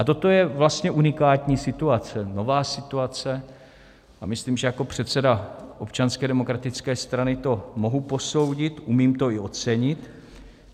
A toto je vlastně unikátní situace, nová situace a myslím, že jako předseda Občanské demokratické strany to mohu posoudit, umím to i ocenit.